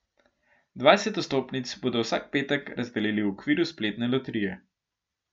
Dvajset vstopnic bodo vsak petek razdelili v okviru spletne loterije.